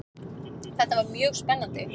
Þetta var mjög spennandi.